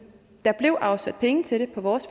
der blev afsat penge til det i vores